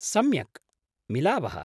सम्यक्, मिलावः।